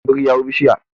biri hau bishiya